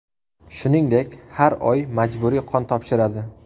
Shuningdek, har oy majburiy qon topshiradi.